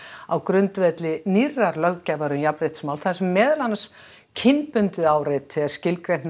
á grundvelli nýrrar löggjafar um jafnréttismál þar sem meðal annars kynbundið áreiti er skilgreint með